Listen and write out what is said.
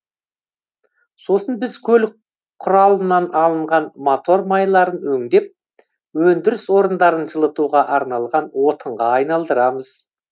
сосын біз көлік құралынан алынған мотор майларын өңдеп өндіріс орындарын жылытуға арналған отынға айналдырамыз